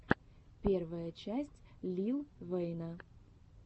первая часть лил вэйна